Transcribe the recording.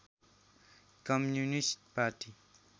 communist party